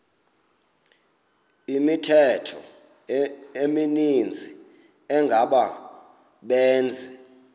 imithqtho emininzi engabaqbenzi